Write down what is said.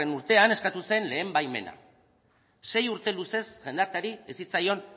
urtean eskatu zen lehen baimena sei urte luzez jendarteari ez zitzaion